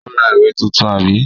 Ó ra ìwé tuntun, àbí?